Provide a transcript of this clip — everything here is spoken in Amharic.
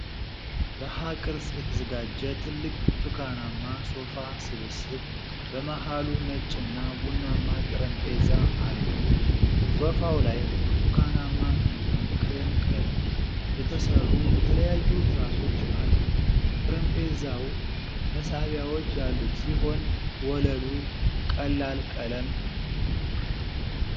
በሀ ቅርፅ የተዘጋጀ ትልቅ ብርቱካናማ ሶፋ ስብስብ በመሃሉ ነጭና ቡናማ ጠረጴዛ አለው። ሶፋው ላይ በብርቱካናማ እና ክሬም ቀለም የተሰሩ የተለያዩ ትራሶች አሉ። ጠረጴዛው መሳቢያዎች ያሉት ሲሆን ወለሉ ቀላል ቀለም ነው።